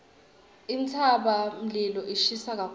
intsabamlilo ishisa kakhulu